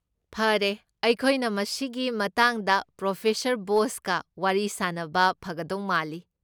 ꯐꯔꯦ, ꯑꯩꯈꯣꯏꯅ ꯃꯁꯤꯒꯤ ꯃꯇꯥꯡꯗ ꯄ꯭ꯔꯣꯐꯦꯁꯔ ꯕꯣꯁꯀ ꯋꯥꯔꯤ ꯁꯥꯅꯕ ꯐꯒꯗꯧ ꯃꯥꯜꯂꯤ꯫